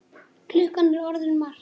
Klukkan er orðin margt.